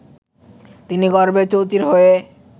তিনি গর্বে চৌচির হয়ে